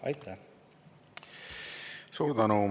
Aitäh!